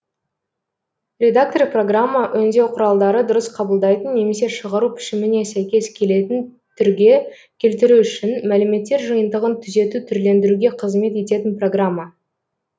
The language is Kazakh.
редактор программа өңдеу құралдары дұрыс қабылдайтын немесе шығару пішіміне сәйкес келетін түрге келтіру үшін мәліметтер жиынтығын түзету түрлендіруге қызмет ететін программа